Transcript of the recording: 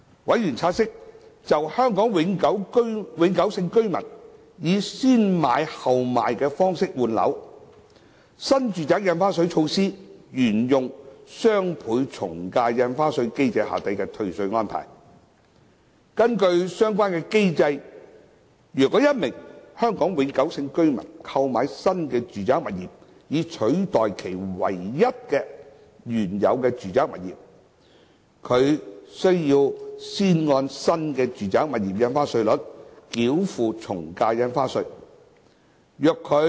委員察悉，就香港永久性居民以"先買後賣"的方式換樓，新住宅印花稅措施沿用雙倍從價印花稅機制下的退稅安排。根據相關的機制，如果一名香港永久性居民購買新住宅物業以取代其唯一的原有住宅物業，他必須先按新住宅物業印花稅率繳付從價印花稅。